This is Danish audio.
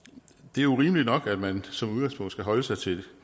det er jo rimeligt nok at man som udgangspunkt skal holde sig til